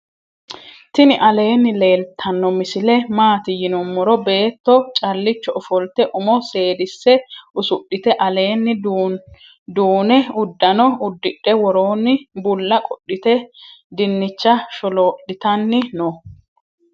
tiini alenni leltano misile mati yinumoro .betto calicho offolte umo sedise usudhite alenni duune udaano udidhe woroni buula qodhite dinicha sholo'litanni noo.